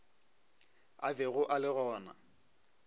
a bego a le gona